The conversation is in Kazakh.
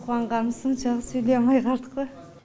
қуанғанымыз соншалық сөйлей алмай қалдық қой